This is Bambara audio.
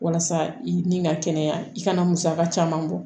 Walasa i ni ka kɛnɛya i kana musaka caman bɔ